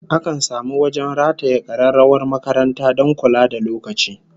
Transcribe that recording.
Akan samu wajen rataye kararrawar makaranta don kula da lokaci